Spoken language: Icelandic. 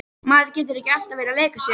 Maður getur ekki alltaf verið að leika sér.